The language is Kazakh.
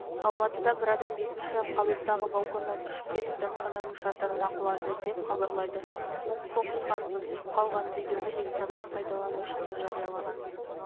алматыда бір адам бесінші қабаттағы балконнан ұшып кетіп дәмхананың шатырына құлады деп хабарлайды оқыс оқиға түсіп қалған видеоны инстаграмда пайдаланушысы жариялаған